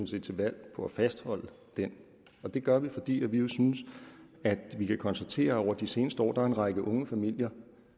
set til valg på at fastholde den det gør vi fordi vi jo synes at vi kan konstatere at der over de seneste år er en række unge familier